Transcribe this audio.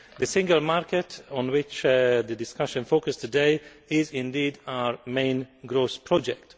The single market on which the discussion focused today is our main growth project.